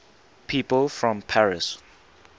people from paris